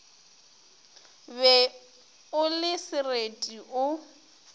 be o le sereti o